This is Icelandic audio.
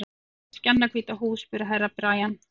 Var hún með skjannahvíta húð, spurði Herra Brian.